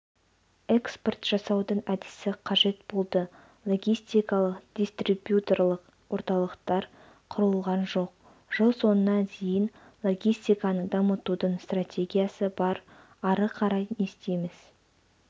экспорт жасаудың әдісі қажет болды логистикалық дистрибьюторлық орталықтар құрылған жоқ жыл соңына дейін логистиканы дамытудың стратегиясы бар ары қарай не істейміз